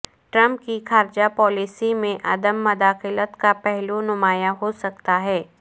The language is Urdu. ٹرمپ کی خارجہ پالیسی میں عدم مداخلت کا پہلو نمایاں ہو سکتا ہے